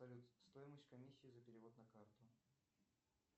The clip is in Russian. салют стоимость комиссии за перевод на карту